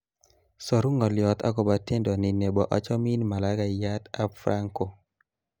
saru ngoliot akobo tendo ni nebo achomin malaikayat ab franco